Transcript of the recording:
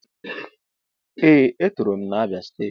Ee e tọrọ m na Abia steeti.